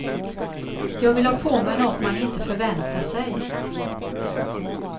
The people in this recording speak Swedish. Jag vill ha på mig något man inte förväntar sig.